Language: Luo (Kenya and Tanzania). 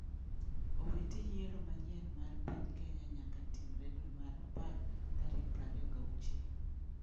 Owiti:yiero manyien mar piny Kenya nyaka timre dwe mar apar tarik 26.